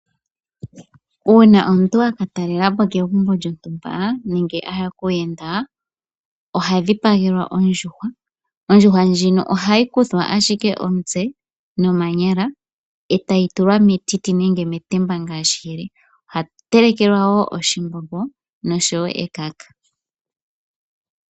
Uuna omuntu waka talelapo kegumbo yontumba nenge aya kuuyenda oha dhipagelwa ondjuhwa, ondjuhwa ndjino ohayi kuthwa ashike omutse nomanyala etayi tulwa metiti nenge metemba ngaashi yili, oha telekelwa wo oshimbombo noshowo ekaka